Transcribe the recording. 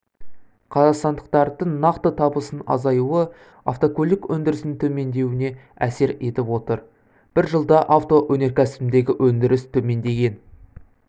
қазақстандықтардың нақты табысының азаюы автокөлік өндірісінің төмендеуіне әсер етіп отыр бір жылда авто өнеркәсібіндегі өндіріс төмендеген